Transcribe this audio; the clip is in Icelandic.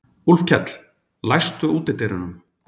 Úlfkell, læstu útidyrunum.